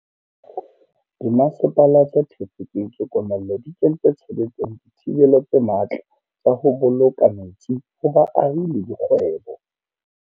Dimasepala tse thefotsweng ke komello di kentse tshebetsong dithibelo tse matla tsa ho bolo ka metsi ho baahi le dikgwebo.